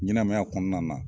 Ɲɛnɛmaya kɔnɔna na.